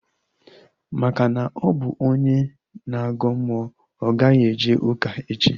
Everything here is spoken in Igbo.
Maka na ọ bụ onye na-agọ mmụọ, ọ gaghị eje ụka echi